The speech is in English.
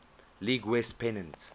league west pennant